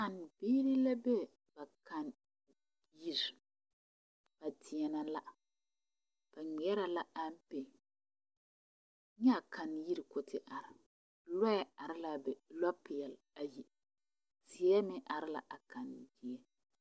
Kannebiiri la be ba kanneyiri ba deɛnɛ la ba ŋmeɛrɛ la ampɛ nyɛ a kanneyiri ka o te are loɛ are la a be lopeɛle ayi teɛ meŋ are la a kannedie.